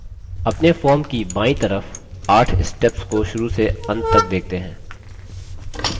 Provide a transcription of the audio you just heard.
अपने form की बायीं तरफ 8 steps को शुरू से अंत तक देखते हैं